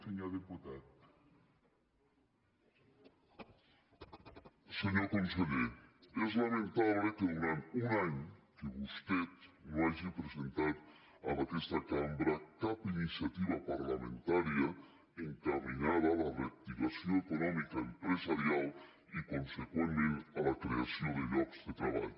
senyor conseller és lamentable que durant un any vostè no hagi presentat en aquesta cambra cap iniciativa parlamentària encaminada a la reactivació econòmica empresarial i consegüentment a la creació de llocs de treball